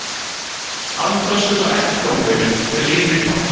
Hafðu töskurnar ekki í gangveginum, drynur í pabba.